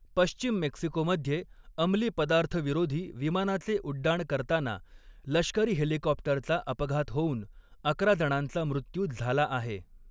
पश्चिम मेक्सिकोमध्ये अंमली पदार्थविरोधी विमानाचे उड्डाण करताना लष्करी हेलिकॉप्टरचा अपघात होऊन अकरा जणांचा मृत्यू झाला आहे.